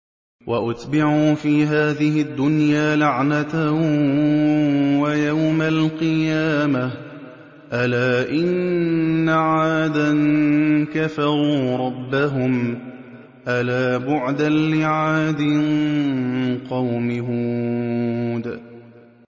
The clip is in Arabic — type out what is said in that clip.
وَأُتْبِعُوا فِي هَٰذِهِ الدُّنْيَا لَعْنَةً وَيَوْمَ الْقِيَامَةِ ۗ أَلَا إِنَّ عَادًا كَفَرُوا رَبَّهُمْ ۗ أَلَا بُعْدًا لِّعَادٍ قَوْمِ هُودٍ